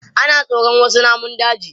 Ana tsoron wasu namun daji.